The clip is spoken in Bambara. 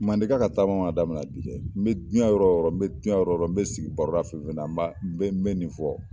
Mandenka ka taama man damina bi dɛ n bɛ n bɛ jiyɛn yɔrɔ yɔrɔɔ n bɛ jiyɛn yɔɔyɔ n bɛ sigi baroda fɛn fɛn na n b'a n bɛ nin fɔ.